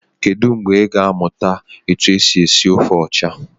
Kedụ mgbe i ga amụta etu esi esi ofe ọcha?